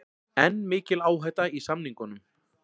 Enn mikil áhætta í samningunum